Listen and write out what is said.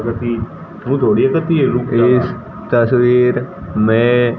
इस तस्वीर में--